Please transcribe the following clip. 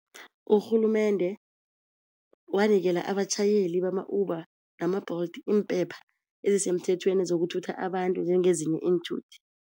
Urhulumende wanikela abatjhayeli bama-Uber nama-Bolt impepha ezisemthethweni zokuthutha abantu njengezinye iinthuthi.